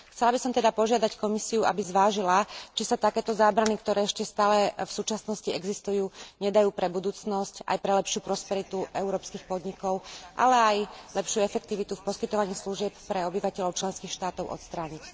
Chcela by som teda požiadať Komisiu, aby zvážila, či sa takéto zábrany, ktoré ešte stále v súčasnosti existujú, nedajú pre budúcnosť, aj pre lepšiu prosperitu európskych podnikov, ale aj lepšiu efektivitu v poskytovaní služieb pre obyvateľov členských štátov, odstrániť.